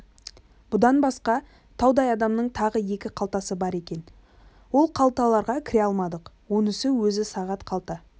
бұдан басқа таудай адамның тағы да екі қалтасы бар екен ол қалталарға кіре алмадық онысын өзі сағат қалта